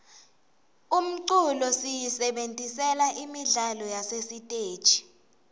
umculo siyisebentisela imidlalo yasesiteji